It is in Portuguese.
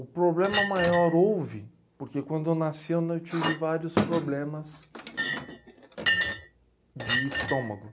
O problema maior houve, porque quando eu nasci eu tive vários problemas de estômago.